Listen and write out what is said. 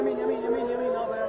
Yemin yemin yemin yemin yemin.